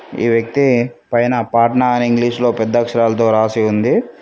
ఈ వ్యక్తి పైన పాట్నా అని ఇంగ్లీష్ లో పెద్ద అక్షరాలతో రాసి ఉంది.